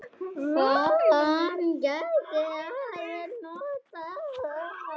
Hann gæti alveg notað þá.